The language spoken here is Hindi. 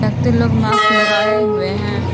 एक दु लोग मास्क लगाए हुए हैं।